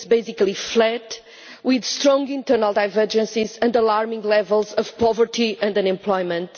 It is basically flat with strong internal divergences and alarming levels of poverty and unemployment.